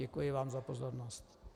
Děkuji vám za pozornost.